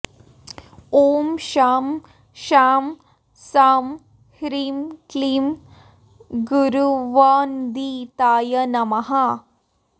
ॐ शं शां षं ह्रीं क्लीं गुरुवन्दिताय नमः